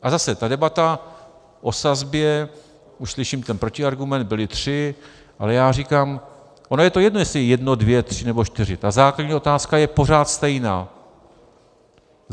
A zase, ta debata o sazbě, už slyším ten protiargument, byly tři, ale já říkám - ono je to jedno, jestli jedno, dvě, tři nebo čtyři, ta základní otázka je pořád stejná.